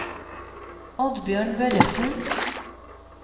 Oddbjørn Børresen